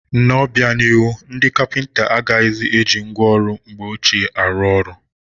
N'obianihu, ndị kapịnta agaghịzi eji ngwa ọrụ mgbe ọchịe arụ ọrụ.